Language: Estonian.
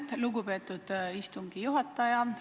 Aitäh, lugupeetud istungi juhataja!